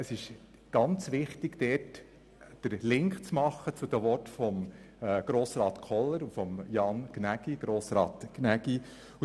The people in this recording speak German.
Es ist sehr wichtig, dort den Link zu den Worten der Grossräte Kohler und Gnägi zu machen.